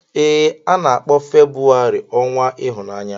Ee, a na-akpọ Febrụwarị ọnwa ịhụnanya.